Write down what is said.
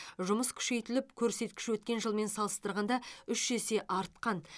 жұмыс күшейтіліп көрсеткіш өткен жылмен салыстырғанда үш есе артқан